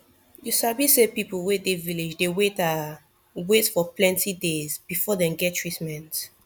you sabi say people wey dey village dey ah wait for plenti days before dem get treatment